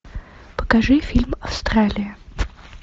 покажи фильм австралия